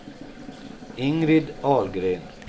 Ingrid Ahlgren